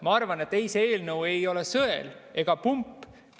Ma arvan, et see eelnõu ei ole ei sõel ega pump.